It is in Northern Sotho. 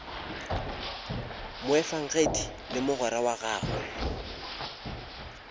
moefangedi le mogwera wa gagwe